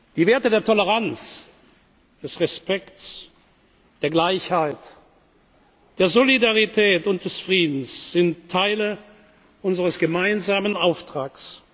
in Hand. Die Werte der Toleranz, des Respekts, der Gleichheit, der Solidarität und des Friedens sind Teile unseres gemeinsamen Auftrags.